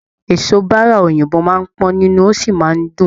Eso bára òyìnbó máa n pọn nínú, o sí máa n dùn.